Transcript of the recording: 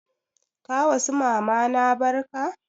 Ka wa su mamana barka?